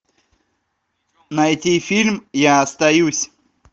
найти фильм я остаюсь